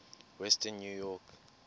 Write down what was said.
western new york